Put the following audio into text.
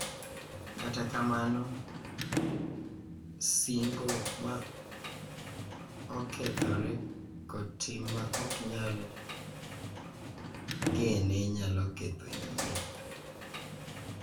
Kata kamano, sing’o ma okethore kod tim ma ok nyal gene nyalo ketho yie,